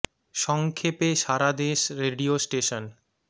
স ং ক্ষে পে সা রা দে শ রেডিও স্টেশন